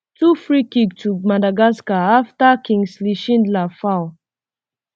twofreekick to madagascar afta kingsley shindler foul um